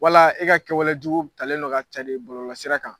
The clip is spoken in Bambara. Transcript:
Wala e ka kɛwalejugu talen don k'a cri bɔlɔlɔsira kan.